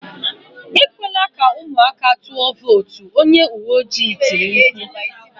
Ekwela ka ụmụaka tụọ vootu"" Onye uwe ojii tiri mkpu